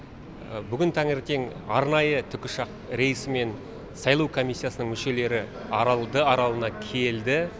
бүгін таңертең арнайы тікұшақ рейсімен сайлау комиссиясының мүшелері аралды аралына келді